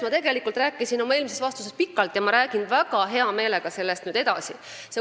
Ma tegelikult rääkisin sellest pikalt oma eelmises vastuses, aga ma räägin sellest nüüd väga hea meelega edasi.